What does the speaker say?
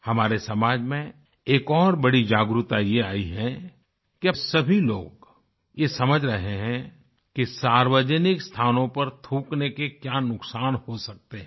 हमारे समाज में एक और बड़ी जागरूकता ये आयी है कि अब सभी लोग ये समझ रहे हैं कि सार्वजनिक स्थानों पर थूकने के क्या नुकसान हो सकते हैं